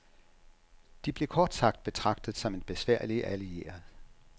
De blev kort sagt betragtet som en besværlig allieret.